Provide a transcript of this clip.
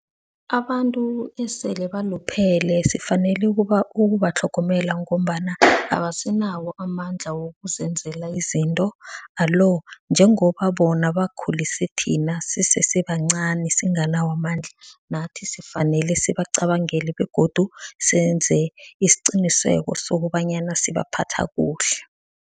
Abantu esele baluphele sifanele ukubatlhogomela ngombana abasenawo amandla wokuzenzela izinto. Alo, njengoba bona bakhulise thina sisesebancani, singanawo amandla, nathi sifanele sibacabangele begodu senze isiqiniseko sokobanyana sibaphatha kuhle.